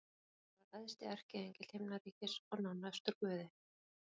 Lúsífer var æðsti erkiengill himnaríkis og nánastur Guði.